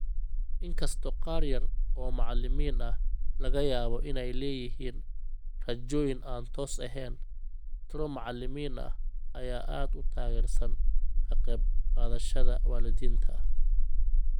Inkastoo qaar yar oo macalimiin ah laga yaabo inay leeyihiin rajooyin aan toos ahayn, tiro macalimiin ah ayaa aad u taageersan ka qayb qaadashada waalidiinta.